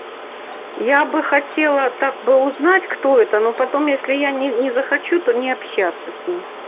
я бы хотела так бы узнать кто это но потом если я не не захочу то не общаться с ним